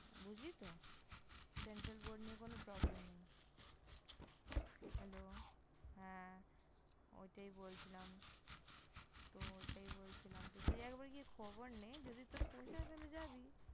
বুঝলি তো? Central Board নিয়ে কোন Problem নেই Hello হ্যাঁ, ওটাই বলছিলাম ।তো ওটাই বলছিলাম । তো তুই একবার গিয়ে খবর নে, যদি তোর পোষায় তাহলে যাবি!